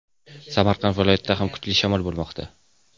Samarqand viloyatida ham kuchli shamol bo‘lmoqda.